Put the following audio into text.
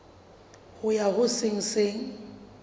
ho ya ho se seng